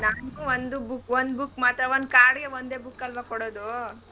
ನಂಗೂ ಒಂದೂ book ಒಂದು book ಮಾತ್ರ ಒಂದ್ card ಗೆ ಒಂದೇ book ಅಲ್ವಾ ಕೊಡದು.